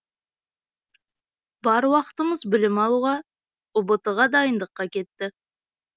бар уақытымыз білім алуға ұбт ға дайындыққа кетті